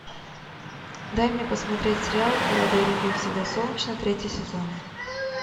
дай мне посмотреть сериал в филадельфии всегда солнечно третий сезон